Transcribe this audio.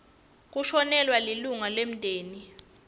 kushonelwa lilunga lemndeni